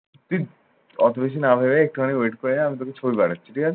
তুই অত বেশি না ভেবে একটুখানি wait করে যা আমি তোকে ছবি পাঠাচ্ছি। ঠিক আছে?